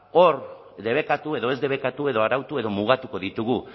hor debekatu edo ez debekatu edo arautu edo mugatuko ditugu